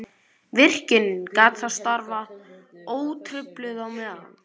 Virkjunin gat þá starfað ótrufluð á meðan.